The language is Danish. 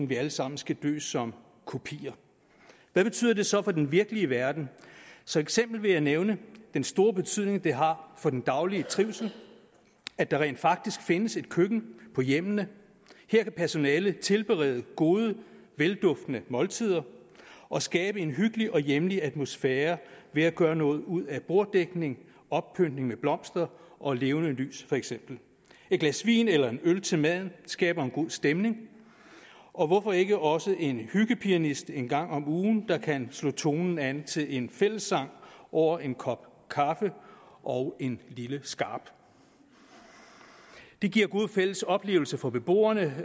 vi alle sammen skal dø som kopier hvad betyder det så for den virkelige verden som eksempel vil jeg nævne den store betydning det har for den daglige trivsel at der rent faktisk findes et køkken på hjemmene her kan personalet tilberede gode velduftende måltider og skabe en hyggelig og hjemlig atmosfære ved at gøre noget ud af borddækning oppyntning med blomster og levende lys for eksempel et glas vin eller en øl til maden skaber en god stemning og hvorfor ikke også have en hyggepianist en gang om ugen der kan slå tonerne an til en fællessang over en kop kaffe og en lille skarp det giver gode fælles oplevelser for beboerne